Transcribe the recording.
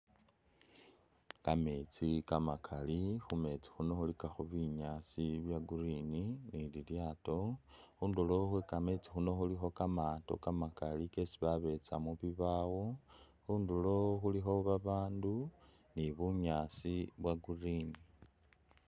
Kameetsi kamakali khu meetsi khuno khulikakho binyaasi bya green ni lilyaato. Khundulo khwe kameetsi khuno khulikho kamaato kamakali kesi babetsa mu bibawo. Khundulo khulikho babandu ni bunyaasi bwa green.